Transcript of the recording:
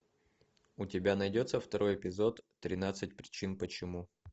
у тебя найдется второй эпизод тринадцать причин почему